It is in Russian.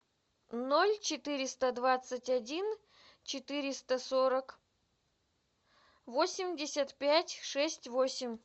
ноль четыреста двадцать один четыреста сорок восемьдесят пять шесть восемь